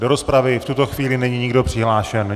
Do rozpravy v tuto chvíli není nikdo přihlášen.